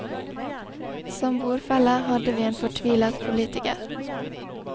Som bordfelle hadde vi en fortvilet politiker.